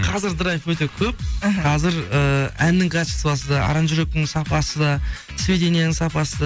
қазір драйв өте көп іхі қазір ііі әннің качествосы да аранжировканың сапасы да сведенияның сапасы